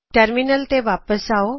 terminal ਤੇ ਵਾਪਿਸ ਆਓ